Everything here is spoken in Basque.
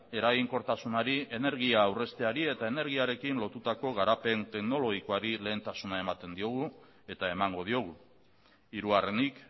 eraginkortasunari energia aurrezteari eta energiarekin lotutako garapen teknologikoari lehentasuna ematen diogu eta emango diogu hirugarrenik